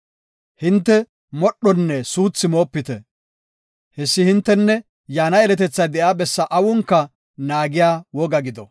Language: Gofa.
Hinte modhonne suuthi moopite. Hessi hinttesnne yaana yeletethay de7iya bessa awunka naagiya woga gido.